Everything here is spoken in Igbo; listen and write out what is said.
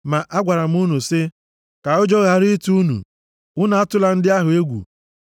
Ma agwara m unu sị, “Ka ụjọ ghara ịtụ unu, unu atụla ndị ahụ egwu.